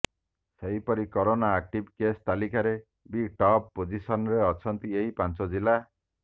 ସେହିପରି corona active case ତାଲିକାରେ ବି ଟପ୍ ପୋଜିସନରେ ଅଛନ୍ତି ଏହି ପାଞ୍ଚ ଜିଲ୍ଲା